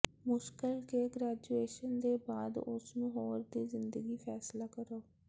ਮੁਸ਼ਕਲ ਕੇ ਗ੍ਰੈਜੂਏਸ਼ਨ ਦੇ ਬਾਅਦ ਉਸ ਨੂੰ ਹੋਰ ਦੀ ਜ਼ਿੰਦਗੀ ਫੈਸਲਾ ਕਰੋ